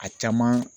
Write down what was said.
A caman